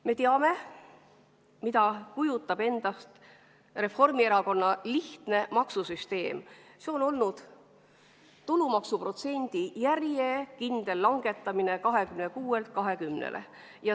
Me teame, mida kujutab endast Reformierakonna lihtne maksusüsteem: see on olnud tulumaksuprotsendi järjekindel langetamine 26%-lt 20%-le.